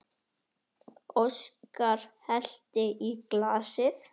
Óskar hellti í glasið.